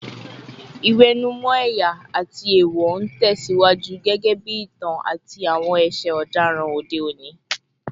Ìwẹ̀nùmọ́ ẹ̀yà àti èèwọ̀ ń tẹ̀ síwájú gẹ́gẹ́ bí ìtàn àti àwọn ẹ̀ṣẹ̀ ọ̀daràn òde òní